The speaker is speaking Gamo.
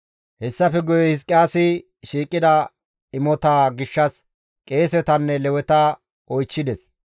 Hessafe guye Hizqiyaasi shiiqida imotaa gishshas qeesetanne Leweta oychchides.